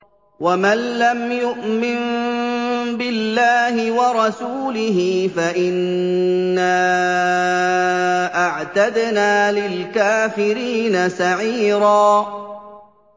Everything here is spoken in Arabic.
وَمَن لَّمْ يُؤْمِن بِاللَّهِ وَرَسُولِهِ فَإِنَّا أَعْتَدْنَا لِلْكَافِرِينَ سَعِيرًا